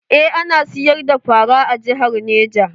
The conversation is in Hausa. Eh ana siyar da fara a jihar neja.